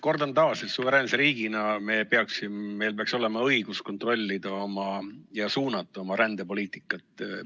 Kordan taas: suveräänse riigina meil peaks olema õigus kontrollida ja suunata oma rändepoliitikat.